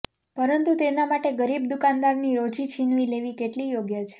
પરંતુ તેના માટે ગરીબ દુકાનદાર ની રોજી છીનવી લેવી કેટલી યોગ્ય છે